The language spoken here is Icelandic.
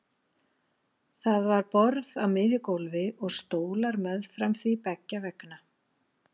Það var borð á miðju gólfi og stólar meðfram því beggja vegna.